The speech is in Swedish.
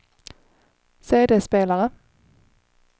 CD-spelare